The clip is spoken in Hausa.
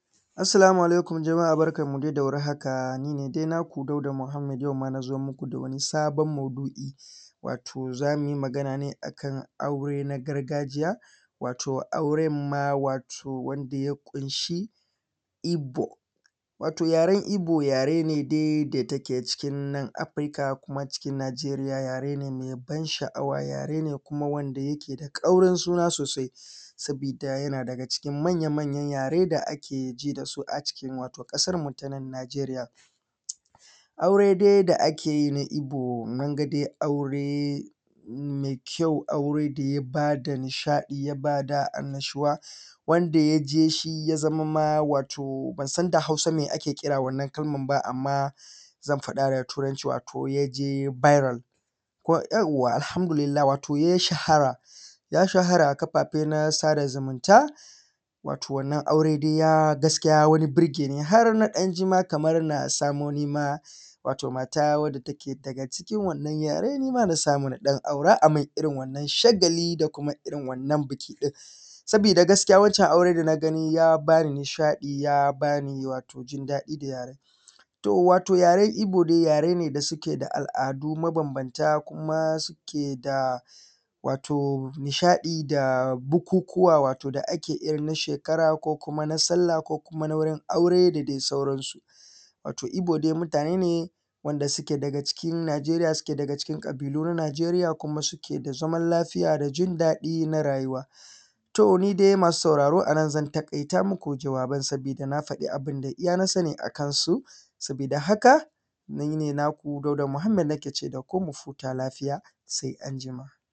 Assalamu alaikum jama’a barkanmu dai da warhaka. Ni ne dai naku Dauda Muhammad na zo muku da wani sabon maudu’i wato zamu yi magana ne akan aure na gargajiya wato auren ma wato wanda ya ƙunshi Ibo. Wato yaren Ibo yare ne dai da yake cikin nan Afrika wato cikin Nijeriya, yare ne mai ban sha’awa, yare ne wanda yake da kaurin sunan sosai, saboda yana daga cikin manya manyan yare da aka ji da su a cikin kasarmu ta nan Nijeriya. Aure dai da ake yi na Ibo mun ga dai aure mai kyau, aure da ya ba da nishaɗi, ya ba da annashuwa, wanda yake shi ya zama watoma ban san da Hausa me ake kira wannan kalman ba amma zan faɗa da turanci wato birak. Yauwa Alhamdulillah ya shahara, ya shahara a kafafe na sada zumunta. Wato wannan aure ya burgeni har na jima kaman na samo nima mata wanda take daga cikin wannan yare na samu na dan aura ayi min irin wannan shagali da kuma irin wannan biki din. Saboda gaskiya wancan aure da na gani ya bani nishaɗi, ya bani jin daɗi. Wato yaren Ibo dai yare ne da suke da al’adu mabambanta, suke da nishaɗi da bukukuwa wato da ake yi na shekara ko kuma na sallah ko kuma na aure aure da dai sauransu. Wato Ibo dai mutane ne da suke daga cikin Nijeriya, suke daga cikin ƙabilu na Nijeriya, kuma suke da zaman lafiya da jin daɗi na rayuwa. To ni dai masu sauraro anan zan takaita muku jawaban saboda na faɗi abinda iyaka na sani a kansu. Saboda da haka ni ne naku Dauda Muhammad nake ce daku mu huta lafiya sai anjima.